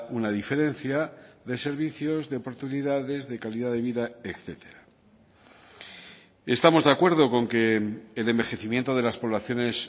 una diferencia de servicios de oportunidades de calidad de vida etcétera estamos de acuerdo con que el envejecimiento de las poblaciones